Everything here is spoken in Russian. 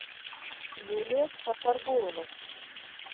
юлия сафаргулова